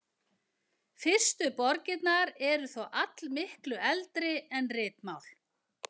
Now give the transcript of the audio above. Fyrstu borgirnar eru þó allmiklu eldri en ritmál.